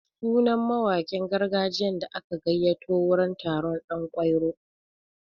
Sunan mawakin gargajiyan da aka gayyato wurin taron ɗan kwairo.